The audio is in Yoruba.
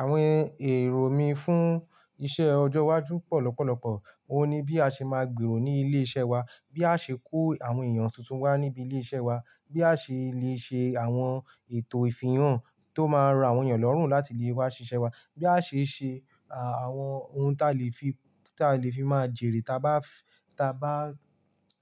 Àwọn èrò mí fún iṣẹ ọjọ́ iwájú pọ̀ lọ́pọ̀lọ́pọ̀. Ó ní bí a ṣe máa gbèrò ní ilé iṣẹ́ wa, bí a ṣe kó àwọn èèyàn tuntun wá níbi ilé iṣẹ́ wa, bí a ṣe lè ṣe àwọn ètò ìfihàn tó máa rán àwọn èèyàn lọ́rùn láti lè wá ṣiṣẹ́ wá, bí a ṣe ṣe àwọn ohun ta lè fi, ta lè fi máa jèrè ta bá, ta bá,